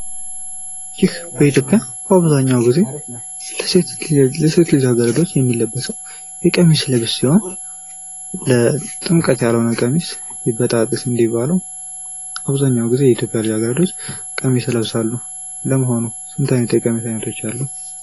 ይህ በኢትዮጵያ በአብዛኛው ጊዜ ለሴት ልጃ ገረዶች የሚለበሰው የቀሚስ ልብስ ሲሆን ለጥምቀት ያልሆነ ቀሚስ ይበጣጠስ እንደሚባለው አብዛኛውን ጊዜ የኢትዮጵያ ልጃ ገረዶች ቀሚስ ይለብሳሉ ። ለመሆኑ ስንት አይነት የቀሚስ አይነቶች አሉ?